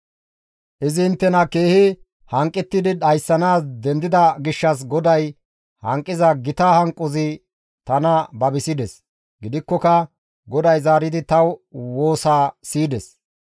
Izi inttena keehi hanqettidi dhayssanaas dendida gishshas GODAY hanqiza gita hanqozi tana babisides; gidikkoka GODAY zaaridi ta woosa siyides.